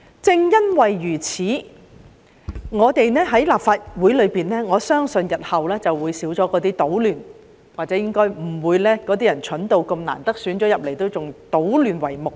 正因如此，我相信立法會日後會減少搗亂，當選為議員的人應該不會愚蠢到即使艱辛當選仍以搗亂為目的。